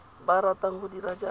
ba ratang go dira jaaka